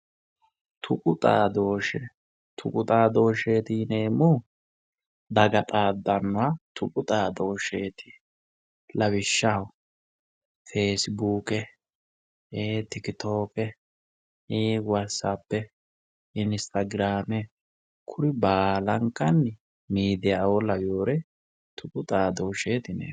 Tuqu xaadooshsheeti yineemmohu daga xaaddannoha ikkanna lawishshaho feesibuuke Tikitooke waatisappe inistaagiraame kuri baalankanni miidiyaaoo lawewoore tuqu xaadooshsheeti yineemmo